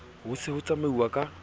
ho se ho tsamauwa ka